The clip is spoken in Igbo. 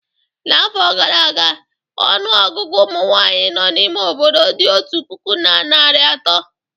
N'afọ gara aga, ọnụ ọgụgụ ụmụ nwanyị nọ n'ime obodo dị otu puku na narị atọ